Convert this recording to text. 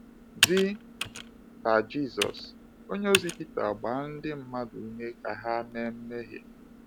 Dị ka Jisọs, onyeozi Pita gbaa ndị mmadụ ume ka ha mee mmehie.